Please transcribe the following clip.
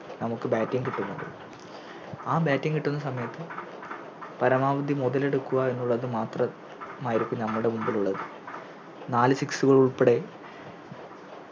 നമുക്ക് Batting കിട്ടുന്നത് ആ Batting കിട്ടുന്ന സമയത്ത് പരമാവധി മുതലെടുക്കുക എന്നുള്ളത് മാത്രമായിരിക്കും നമ്മുടെ മുമ്പിലുള്ളത് നാല് Six കൾ ഉൾപ്പെടെ